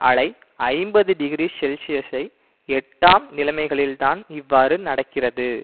அலை ஐம்பது டிகிரி செல்சியசை எட்டாம் நிலைமைகளில்தான் இவ்வாறு நடக்கிறது